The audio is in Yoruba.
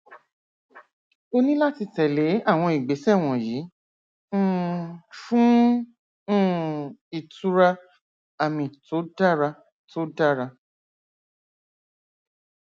o ní láti tẹlé àwọn ìgbésẹ wọnyí um fún um ìtura àmì tó dára tó dára